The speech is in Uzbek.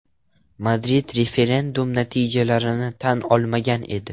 Madrid referendum natijalarini tan olmagan edi.